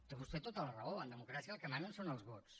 té vostè tota la raó en democràcia el que manen són els vots